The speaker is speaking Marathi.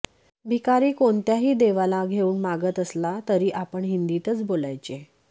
भिकारी कोणत्याही देवाला घेऊन मागत असला तरी आपण हिंदीतच बोलायचे